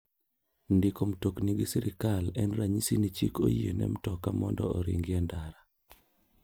Ndiko mtokni gi sirkal en ranyisi ni chik oyiene mtoka mondo oringi en ndara.